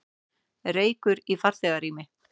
Reykur í farþegarými